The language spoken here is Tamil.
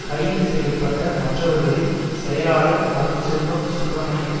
கைது செய்ய பட்ட மற்றவர்களில் செயலாளர் அருட்செல்வம் சுப்ரமணியம்